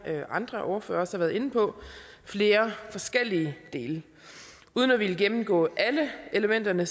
andre ordførere også har været inde på flere forskellige dele uden at ville gennemgå alle elementerne